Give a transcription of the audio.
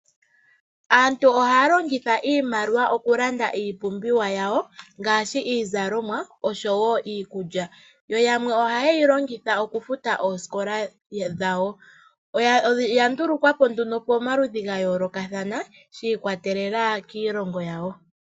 Aantu ohaya longitha iimaliwa oku landa iipumbiwa yawo ngaashi iizalomwa oshowo iikulya, yo yamwe ohaye yi longitha okufuta oosikola dhawo. Oya ndulukwa po nduno pomaludhi ga yoolokathana sha i kwatelela kiilongo yawo.